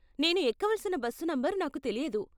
నేను ఎక్కవలసిన bus number నాకు తెలియదు.